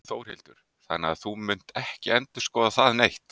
Þórhildur: Þannig að þú munt ekki endurskoða það neitt?